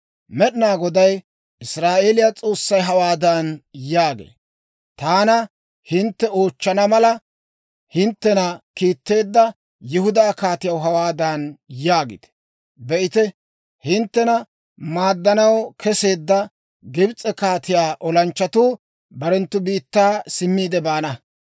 Med'inaa Goday Israa'eeliyaa S'oossay hawaadan yaagee; «Taana hintte oochchana mala, hinttena kiitteedda Yihudaa kaatiyaw hawaadan yaagite; ‹Be'ite, hinttena maaddanaw keseedda Gibs'e kaatiyaa olanchchatuu barenttu biittaa simmiide baana.